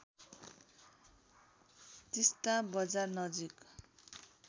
तिस्‍ता बजार नजिक